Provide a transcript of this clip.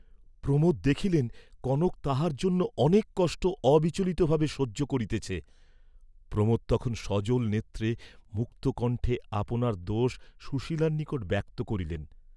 প্রমোদ দেখিলেন কনক তাঁহার জন্য অনেক কষ্ট অবিচলিতভাবে সহ্য করিতেছে, প্রমোদ তখন সজল নেত্রে মুক্তকণ্ঠে আপনার দোয সুশীলার নিকট ব্যক্ত করিলেন।